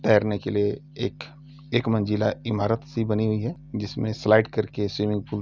तैरने के लिए एक एक मंजिला इमारत-सी बनी हुई है। जिसमें स्लाइड करके स्विमिंग पूल --